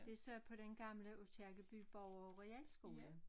Det så på den gamle Aakirkeby borger og realskole